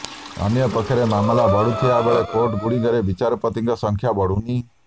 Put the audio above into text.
ଅନ୍ୟପକ୍ଷରେ ମାମଲା ବଢୁଥିବା ବେଳେ କୋର୍ଟ ଗୁଡିକରେ ବିଚାରପତିଙ୍କ ସଂଖ୍ୟା ବଢୁନି